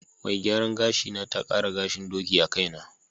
Mai gyaran gashina ta ƙara gahin ɗoki a kaina.